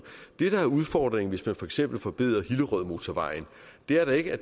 det der er udfordringen hvis man for eksempel forbedrer hillerødmotorvejen er da ikke at